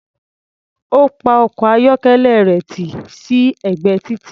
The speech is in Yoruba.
Ó pa ọkọ̀-ayọ́kẹ́lẹ́ rẹ̀ tì sí ẹ̀gbẹ́ títì.